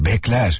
Bəklər.